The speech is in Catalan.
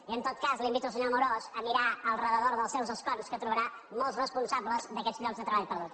i en tot cas invito el senyor amorós a mirar al voltant dels seus escons que trobarà molts responsables d’aquests llocs de treball perduts